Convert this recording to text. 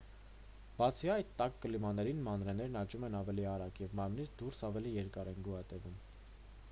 բացի այդ տաք կլիմաներին մանրէներն աճում են ավելի արագ և մարմնից դուրս ավելի երկար են գոյատևում